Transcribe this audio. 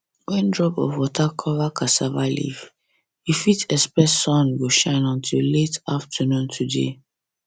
when drop of water cover cassava leaf you fit expect sun go shine until late afternoon today